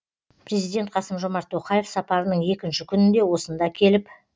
президент қасым жомарт тоқаев сапарының екінші күнінде осында келіп